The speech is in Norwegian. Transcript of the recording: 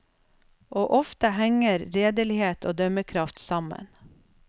Og ofte henger redelighet og dømmekraft sammen.